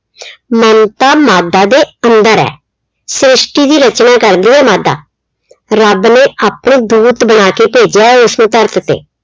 ਮਮਤਾ ਮਾਦਾ ਦੇ ਅੰਦਰ ਆ। ਸ਼੍ਰਿਸ਼ਟੀ ਦੀ ਰਚਨਾ ਕਰਦੀ ਏ ਮਾਦਾ। ਰੱਬ ਨੇ ਆਪਣੇ ਦੂਤ ਬਣਾ ਕੇ ਭੇਜੇ ਆ ਏਸੇ ਧਰਤ ਤੇ